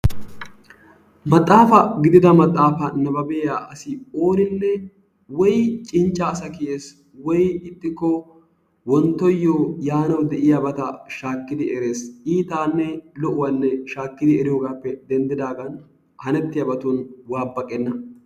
Maxaafa gidida maxaafa nababbiya asi ooninne woy cincca asa kiyees woy ixxikko wonttoyo yaanaw de'iyabata shaakidi erees. Ittanne lo'uwaanne shaakkidi eriyoogaappe denddidaagan hanettiyabatun waabaqenna.